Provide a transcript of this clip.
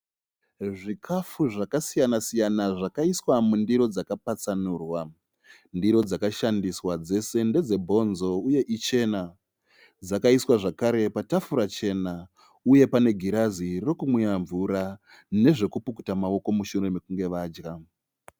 Zvikafu zvakasiyana -siyana zvakaiswa mundiri dzakapatsanurwa. Ndiro dzakashandiswa dzose ndedze bonzo uye ichena. Dzakaiswa zvakare patafura chena uye pane girazi rokumwira mvura nezvekupukuta maoko mushure mekunge vadya.